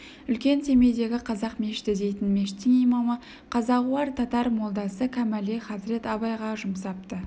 үлкен семейдегі қазақ мешіті дейтін мешіттің имамы қазағуар татар молдасы кәмәли хазірет абайға жұмсапты